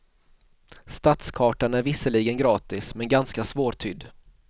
Stadskartan är visserligen gratis, men ganska svårtydd.